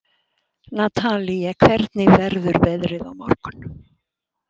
Natalie, hvernig verður veðrið á morgun?